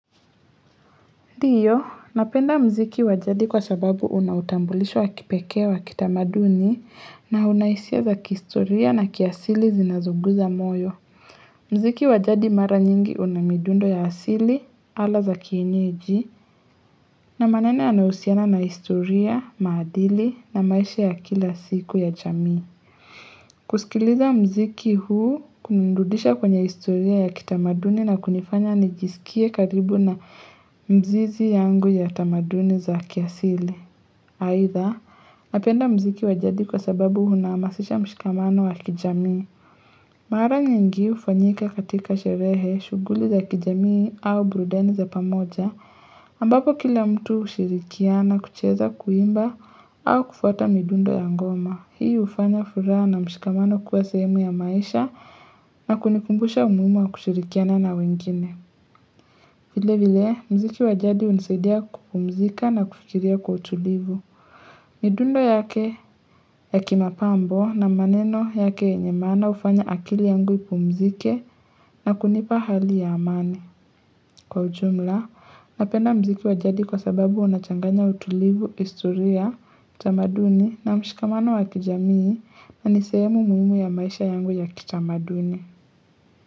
Ndiyo, napenda mziki wa jadi kwa sababu una utambulisho wa kipekee wa kitamaduni na una hisia za kihistoria na kiasili zinazozuguza moyo. Muziki wa jadi mara nyingi una midundo ya asili, ala za kienyeji na maneno yanayohusiana na historia, maadili na maisha ya kila siku ya jamii. Kusikiliza muziki huu kunanirudisha kwenye historia ya kitamaduni na kunifanya nijisikie karibu na mzizi yangu ya tamaduni za kiasili. Aidha, napenda muziki wa jadi kwa sababu unahamasisha mshikamano wa kijamii. Mara nyingi hufanyika katika sherehe shughuli za kijamii au burudani za pamoja ambapo kila mtu hushirikiana kucheza kuimba au kufuata midundo ya ngoma. Hii hufanya furaha na mshikamano kuwa sehemu ya maisha na kunikumbusha umuhimu wa kushirikiana na wengine. Vile vile, mziki wajadi hunisaidia kupumzika na kufikiria kwa utulivu. Midundo yake ya kimapambo na maneno yake yenye maana hufanya akili yangu ipumzike na kunipa hali ya amani. Kwa ujumla, napenda muziki wa jadi kwa sababu unachanganya utulivu, historia, utamaduni na mshikamano wa kijamii na nisehemu muhimu ya maisha yangu ya kitamaduni.